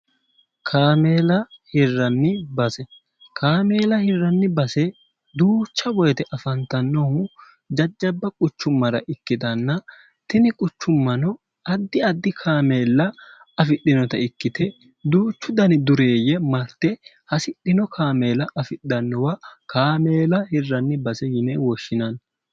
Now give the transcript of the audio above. kaameela hirranni base kaameela hirranni base duucha woyite afantannohu jajjabba quchummara ikkitanna tini quchummano addi addi kaameella afidhinota ikkite duuchu dani dureeyye marte hasidhino kaameela afidhannowa kaameela hirranni base yine woshshinanni